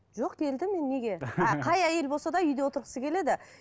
жоқ келді мен неге і қай әйел болса да үйде отырғысы келеді